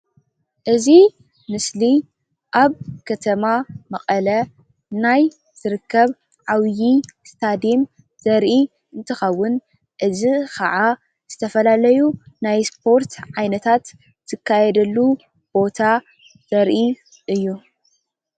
እዚ ምስሊ ኣብ ከተማ መቐለ ናይ ዝርከብ ዓብዪ እስታዴም ዘርኢ እንትኸውን እዚ ከዓ ዝተፈላለዩ ናይ ስፖርት ዓይነታት ዝካየደሉ ቦታ ዘርኢ እዩ።